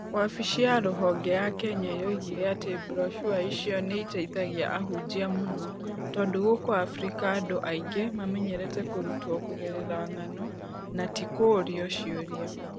Wabici ya rũhonge ya Kenya yoigire atĩ broshua icio nĩ iteithagia ahunjia mũno, tondũ gũkũ Afrika andũ aingĩ mamenyerete kũrutwo kũgerera ng’ano, no ti kũũrio ciũria.